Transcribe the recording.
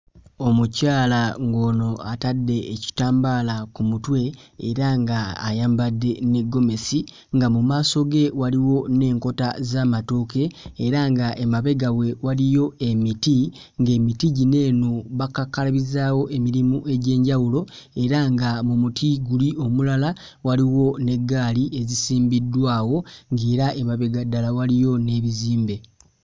Omukyala ng'ono atadde ekitambaala ku mutwe era nga ayambadde ne ggomesi nga mu maaso ge waliwo n'enkota z'amatooke era nga emabega we waliyo emiti ng'emiti gino eno bakakkalabizaawo emirimu egy'enjawulo era nga mu muti guli omulala waliwo n'eggaali ezisimbidwawo ng'era emabega ddala waliyo n'ebizimbe.